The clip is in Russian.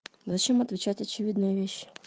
зачем отвечать очевидные вещи